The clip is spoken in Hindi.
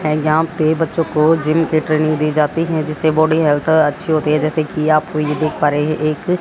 एग्जाम पे बच्चों को जिम की ट्रेनिंग दी जाती है जिससे बॉडी हेल्थ अच्छी होती है जैसे कि आपको यह देख पा रहे हैं एक--